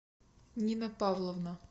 нина павловна